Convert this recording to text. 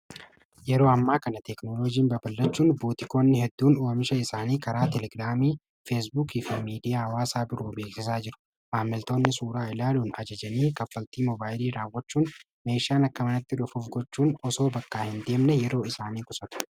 Yeroo ammaa kana teeknolojiin baballachuun buutikoonni hedduun u'amisha isaanii karaa telegiraamii feesbuuki fi miidiyaa waasaa biroo beekesaa jiru maammiltoonni suuraa ilaaluun ajajanii kaffaltii mobaayilii raawwachuun meeshaan akka manatti dhufuuf gochuun osoo bakkaa hin deemne yeroo isaanii qusatu.